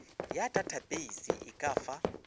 ya datapeise e ka fa